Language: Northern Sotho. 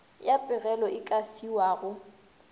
ya pegelo e ka fiwago